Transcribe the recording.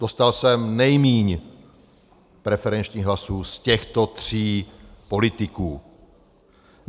Dostal jsem nejméně preferenčních hlasů z těchto tří politiků.